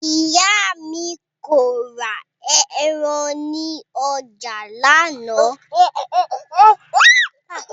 Ìyá mi kò ra ẹran ní ọjà lánàá